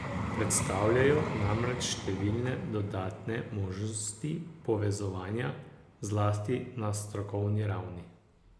Predstavljajo namreč številne dodatne možnosti povezovanja, zlasti na strokovni ravni.